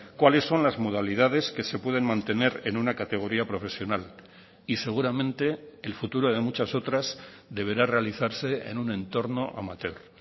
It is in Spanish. cuáles son las modalidades que se pueden mantener en una categoría profesional y seguramente el futuro de muchas otras deberá realizarse en un entorno amateur